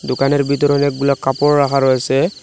দোকানের ভিতরে অনেকগুলা কাপড় রাখা রয়েসে ।